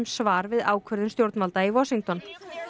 svar við ákvörðun stjórnvalda í Washington